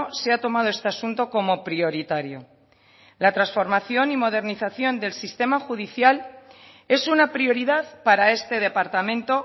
se ha tomado este asunto como prioritario la transformación y modernización del sistema judicial es una prioridad para este departamento